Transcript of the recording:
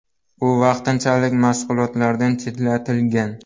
U vaqtinchalik mashg‘ulotlardan chetlatilgan.